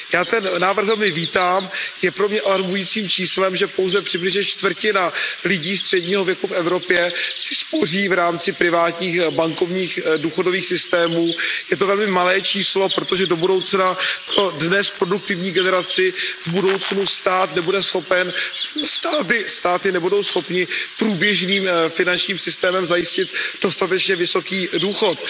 Já ten návrh velmi vítám, je pro mě alarmujícím číslem, že pouze přibližně čtvrtina lidí středního věku v Evropě si spoří v rámci privátních bankovních důchodových systémů. Je to velmi malé číslo, protože do budoucna pro dnes produktivní generaci táty nebudou schopny průběžným finančním systémem zajistit dostatečně vysoký důchod.